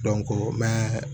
mɛ